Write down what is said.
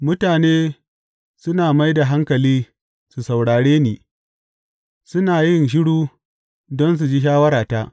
Mutane suna mai da hankali su saurare ni, suna yin shiru don su ji shawarata.